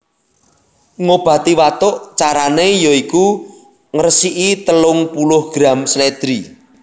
Ngobati watuk Carane ya iku resiki telung puluh gram slèdri